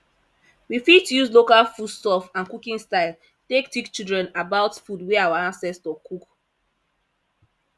we fit use local food stuff and cooking style take teach children about food wey our ancestor cook